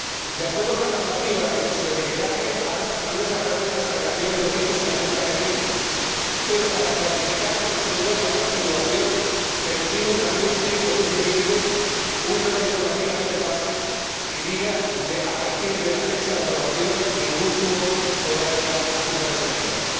De acuerdo con la normativa sobre etiquetaje han desaparecido las alegaciones del tipo sin azúcar añadido, pero para clarificar al consumidor la nueva situación, permitimos durante un tiempo suficiente una nota informativa en el envase que diga que a partir de la fecha de aprobación, ningún zumo podrá llevar azúcares añadidos.